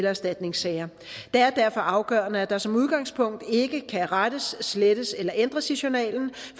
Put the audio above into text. erstatningssager det er derfor afgørende at der som udgangspunkt ikke kan rettes slettes eller ændres i journalen